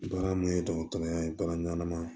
Baara mun ye dɔgɔtɔrɔya ye baara ɲanama ye